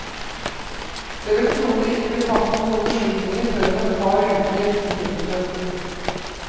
Det vil trolig ikke bli tatt noen beslutninger før om et par uker. punktum